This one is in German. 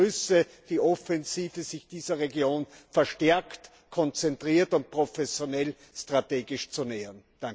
Ich begrüße die Offensive, sich dieser Region verstärkt, konzentriert und professionell strategisch zu nähern!